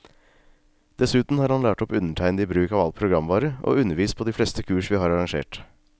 Dessuten har han lært opp undertegnede i bruk av all programvare, og undervist på de fleste kurs vi har arrangert.